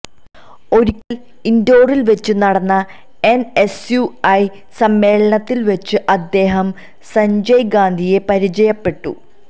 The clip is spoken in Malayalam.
ഒരിക്കല് ഇന്റോറില് വെച്ച് നടന്ന എന്എസ്യുഐ സമ്മേളനത്തില് വെച്ച് അദ്ദേഹം സജ്ഞയ് ഗാന്ധിയെ പരിചയപ്പെട്ടു